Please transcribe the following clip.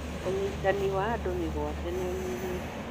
Ũnyitani wa andũ mĩgwate nĩũnyihĩte.